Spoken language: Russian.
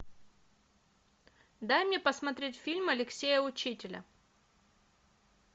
дай мне посмотреть фильм алексея учителя